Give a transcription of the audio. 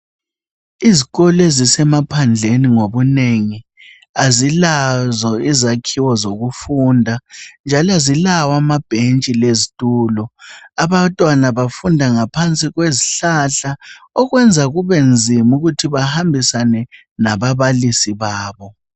Izikolo ezisemaphandleni ngobunengi azilazo izakhiwo zokufunda njalo azilawo amabhentshi lezitulo abantwana bafunda ngaphansi kwezihlahla okwenza kube nzima ukuthi bahambisane lababalisi babo.